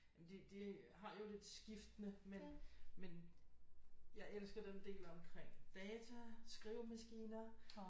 Jamen de de har jo lidt skiftende men men jeg elsker den del omkring data skrivemaskiner